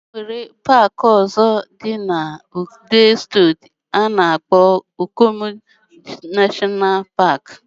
Enwere park ozo di na Edo steeti ana akpo Okomu National Park.